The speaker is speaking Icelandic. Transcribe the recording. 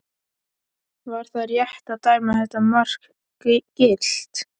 Var það rétt að dæma þetta mark gilt?